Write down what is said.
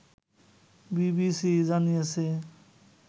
BBC জানিয়েছে